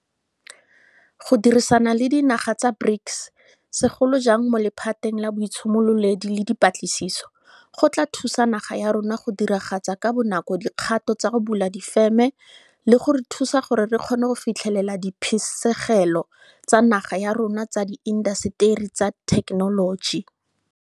Go dirisana le dinaga tsa BRICS, segolo jang mo lephateng la boitshimololedi le dipatlisiso, go tla thusa naga ya rona go diragatsa ka bonako dikgato tsa go bula difeme le go re thusa gore re kgone go fitlhelela diphisegelo tsa naga ya rona tsa diinta seteri tsa thekenoloji.